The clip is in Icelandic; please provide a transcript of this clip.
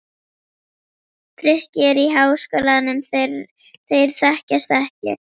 Frikki er í Háskólanum, þeir þekkjast ekki.